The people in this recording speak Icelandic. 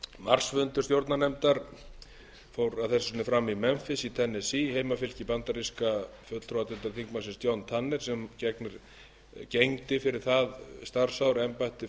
marsfundur stjórnarnefndar fór að þessu sinni fram í memphis í tennessee heimafylki bandaríska fulltrúadeildarþingmannsins john tanners sem gegndi fyrir það starfsár embætti